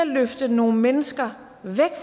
løfte nogle mennesker væk